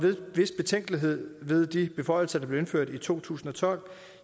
vis betænkelighed ved de beføjelser der blev indført i to tusind og tolv